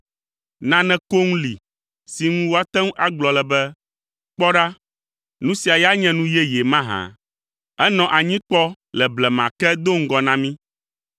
Nane koŋ li si ŋu woate ŋu agblɔ le be, “Kpɔ ɖa, nu sia ya nye nu yeye” mahã? Enɔ anyi kpɔ le blema ke, do ŋgɔ na mí.